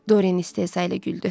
Dorian istehza ilə güldü.